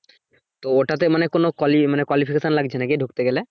তো ওটাতে মানে কোন qualification লাগছে কিনা ঢুকতে গেলে?